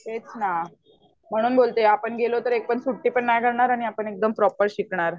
तेच ना. म्हणून बोलते आपण गेलो तर एक पण सुट्टी पण नाय घेणार आणि आपण एक्दम प्रोपर शिकणार